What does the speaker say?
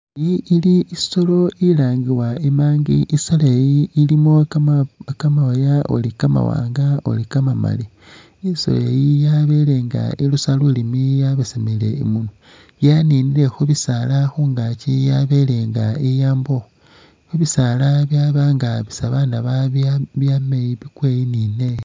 Iyi ili isoolo ilangibwa i'monkey, isoolo iyi ilimo kamooya uli kamawanga uli kamamali, isoolo iyi yabeele nga irusa lulimi yabesemele imunwa yaninile khubisaala khungaaki yabeele nga iyamba ukhwo, khubisaala byaba nga byaama iyi bikwa iyi ne neyi.